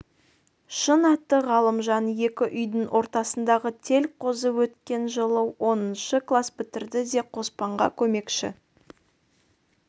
шын аты ғалымжан екі үйдің ортасындағы тел қозы өткен жылы оныншы класс бітірді де қоспанға көмекші